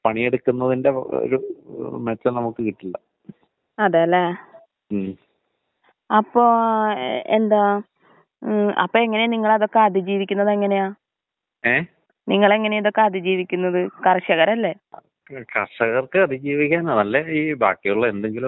തീർച്ചയായും തീർച്ചയായും. സന്ധിവാതം ഉളള ആൾക്കാരില് ഭൂരിപക്ഷം പേർക്കും ഈ കാലാവസ്ഥ വ്യതിയാനം വരുമ്പോ അവർക്ക് ആ ബുദ്ധിമുട്ട് നല്ലപോലെ വരാറുണ്ട്. പ്രത്യേകിച്ച് തണുത്ത തറയിലൊക്കെ കിടക്കുന്നവർക്ക് മാത്രമല്ല, തണുപ്പിലേക്ക് ചവുട്ടുന്ന ആൾക്കാർക്ക് പോലും അത് ബാധിക്കാറുണ്ട്.